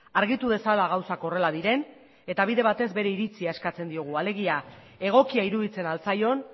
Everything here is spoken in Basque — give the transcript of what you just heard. argitu dezala gauzak horrela diren eta bidez batez bere iritzia eskatzen diogu alegia egokia iruditzen al zaion